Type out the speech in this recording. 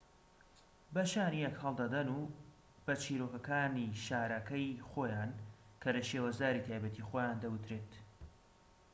بە شانی یەک هەڵدەدەن بە چیرۆكەكانی شارەکەی خۆیان کە لە شێوەزاری تایبەتی خۆیان دەوترێت